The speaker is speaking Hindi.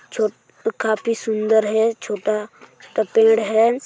छो काफी सुंदर है छोटा पेड़ है।